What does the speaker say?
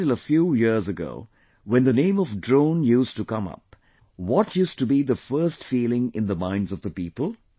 Up until a few years ago, when the name of Drone used to come up, what used to be the first feeling in the minds of the people